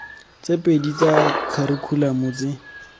tse pedi tsa kharikhulamo tse